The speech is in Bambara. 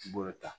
I b'o ta